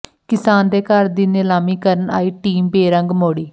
ਕਿਸਾਨ ਦੇ ਘਰ ਦੀ ਨੀਲਾਮੀ ਕਰਨ ਆਈ ਟੀਮ ਬੇਰੰਗ ਮੋੜੀ